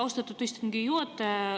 Austatud istungi juhataja!